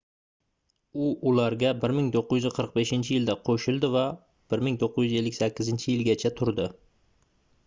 u ularga 1945-yilda qoʻshildi va 1958-yilgacha turdi